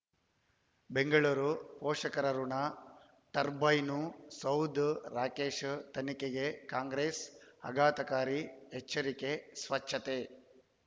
ಬೆಂಗಳೂರು ಪೋಷಕರಋಣ ಟರ್ಬೈನು ಸೌಧ ರಾಕೇಶ್ ತನಿಖೆಗೆ ಕಾಂಗ್ರೆಸ್ ಆಘಾತಕಾರಿ ಎಚ್ಚರಿಕೆ ಸ್ವಚ್ಛತೆ